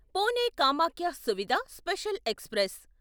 Pune Kamakhya Suvidha special express